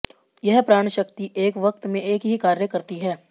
यह प्राण शक्ति एक वक्त में एक ही कार्य करती है